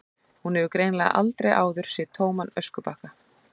Hún hefur greinilega aldrei áður séð tóman öskubakka.